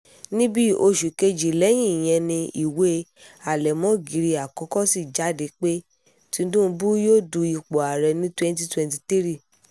ní bíi oṣù kejì lẹ́yìn ìyẹn ni ìwé àlẹ̀mógiri àkọ́kọ́ sì jáde pé tinubu yóò du ipò ààrẹ ní twenty twenty three